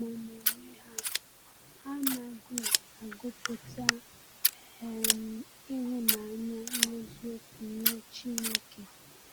Ma n’onwe ha, ha anaghị agụpụta um ịhụnanya n’eziokwu nye Chineke.